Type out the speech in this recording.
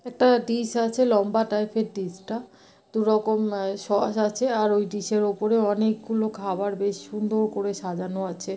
একটা ডিস আছে লম্বা টাইপের ডিস টা দুরকম এ সস আছে আর ওই ডিস -এর ওপরে অনেকগুলো খাবার বেশ সুন্দ-ওর করে সাজানো আছে ।